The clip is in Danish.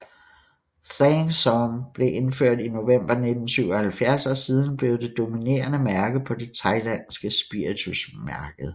Sang Som blev indført i november 1977 og er siden blevet det dominerende mærke på det thailandske spiritusmarked